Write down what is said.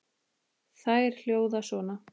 Þær hljóða svona